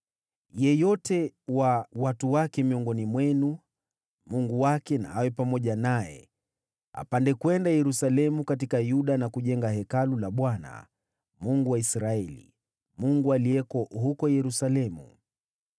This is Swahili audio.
Yeyote wa watu wake miongoni mwenu, Mungu wake na awe pamoja naye, wacha apande kwenda Yerusalemu katika Yuda na kujenga Hekalu la Bwana , Mungu wa Israeli, Mungu aliyeko huko Yerusalemu.